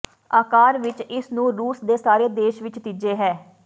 ਆਕਾਰ ਵਿਚ ਇਸ ਨੂੰ ਰੂਸ ਦੇ ਸਾਰੇ ਦੇਸ਼ ਵਿੱਚ ਤੀਜੇ ਹੈ